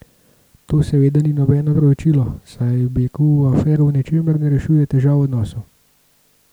To seveda ni nobeno opravičilo, saj beg v afero v ničemer ne rešuje težav v odnosu.